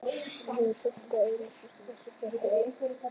Orðin eru samt það eina sem þessi strákur á.